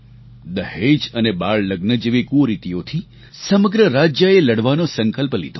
દહેજ અને બાળ લગ્ન જેવી કુરીતિઓથી સમગ્ર રાજ્યએ લડવાનો સંકલ્પ લીધો